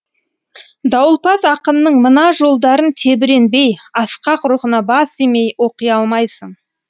дауылпаз ақынның мына жолдарын тебіренбей асқақ рухына бас имей оқи алмайсың